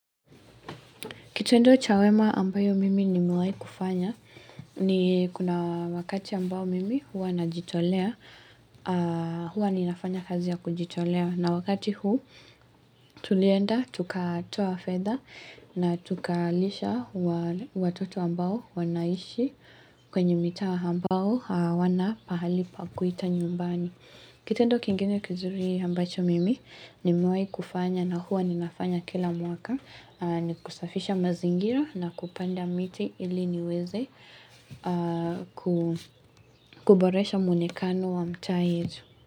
Kitendo cha wema ambayo mimi nimewai kufanya ni kuna wakati ambayo mimi hua najitolea hua ninafanya kazi ya kujitolea na wakati huu tulienda tukatoa fedha na tukalisha watoto ambayo wanaishi kwenye mitaa ambao hawana pahali pa kuita nyumbani. Kitendo kingine kizuri ambacho mimi nimewai kufanya na huwa ni nafanya kila mwaka ni kusafisha mazingira na kupanda miti ili niweze kuboresha mwonekano wa mtaa yetu.